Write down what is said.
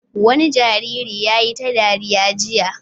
Wani jariri ya yi ta dariya jiya.